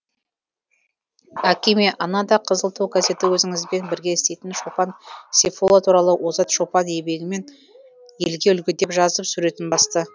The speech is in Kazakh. әкеме анада қызыл ту газеті өзіңізбен бірге істейтін шопан сейфолла туралы озат шопан еңбегімен елге үлгі деп жазып суретін басты